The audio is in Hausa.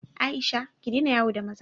Aisha, ki daina yawo da maza!